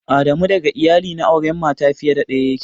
Adamu daga iyali na aure mata fiye da daya yake.